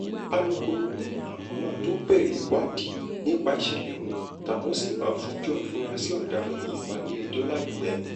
alūkkóró ni àwọn máa tóó bẹ̀rẹ̀ ìwádìí nípa ìṣẹ̀lẹ̀ ohun táwọn sì máa fojú àfúráṣí ọ̀daràn yìí balẹ̀-ẹjọ́ láìpẹ́